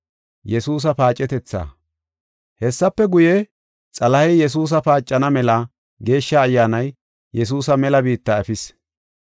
Hessafe guye, Xalahey Yesuusa paacana mela Geeshsha Ayyaanay Yesuusa mela biitta efis.